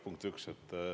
Punkt üks.